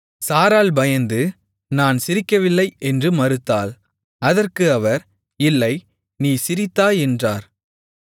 சாராள் பயந்து நான் சிரிக்கவில்லை என்று மறுத்தாள் அதற்கு அவர் இல்லை நீ சிரித்தாய் என்றார்